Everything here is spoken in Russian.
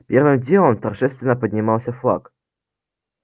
первым делом торжественно поднимался флаг